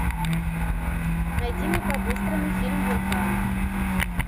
найди мне по быстрому фильм вулкан